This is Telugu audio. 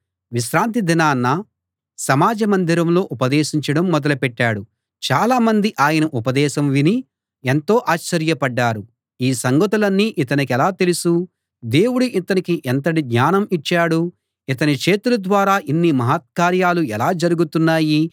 విశ్రాంతి దినాన సమాజ మందిరంలో ఉపదేశించడం మొదలు పెట్టాడు చాలామంది ఆయన ఉపదేశం విని ఎంతో ఆశ్చర్యపడ్డారు ఈ సంగతులన్నీ ఇతనికెలా తెలుసు దేవుడు ఇతనికి ఎంతటి జ్ఞానం ఇచ్చాడు ఇతని చేతుల ద్వారా ఇన్ని మహత్కార్యాలు ఎలా జరుగుతున్నాయి